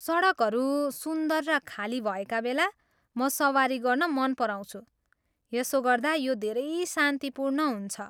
सडकहरू सुन्दर र खाली भएका बेला म सवारी गर्न मन पराउँछु , यसो गर्दा, यो धेरै शान्तिपूर्ण हुन्छ।